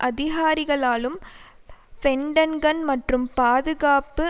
அதிகாரிகளாலும் Pentagon மற்றும் பாதுகாப்பு